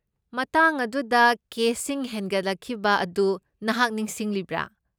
ꯃꯇꯥꯡ ꯑꯗꯨꯗ ꯀꯦꯁꯁꯤꯡ ꯍꯦꯟꯒꯠꯂꯛꯈꯤꯕ ꯑꯗꯨ ꯅꯍꯥꯛ ꯅꯤꯡꯁꯤꯡꯂꯤꯕ꯭ꯔꯥ?